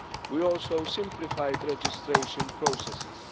We also simplified registration processes.